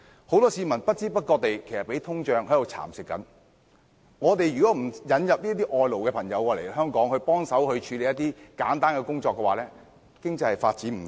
很多市民的收入不知不覺遭通脹蠶食，如果香港不引入外勞協助處理一些簡單工作的話，經濟是無法發展的。